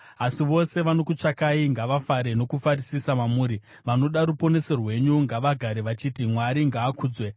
Asi vose vanokutsvakai ngavafare nokufarisisa mamuri; vanoda ruponeso rwenyu ngavagare vachiti, “Mwari ngaakudzwe!”